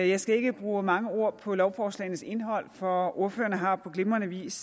jeg skal ikke bruge mange ord på lovforslagenes indhold for ordførerne har på glimrende vis